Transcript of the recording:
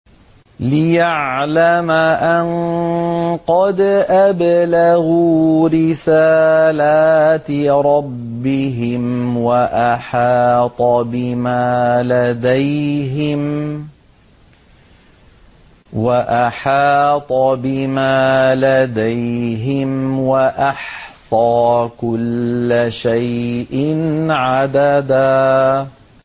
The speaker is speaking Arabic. لِّيَعْلَمَ أَن قَدْ أَبْلَغُوا رِسَالَاتِ رَبِّهِمْ وَأَحَاطَ بِمَا لَدَيْهِمْ وَأَحْصَىٰ كُلَّ شَيْءٍ عَدَدًا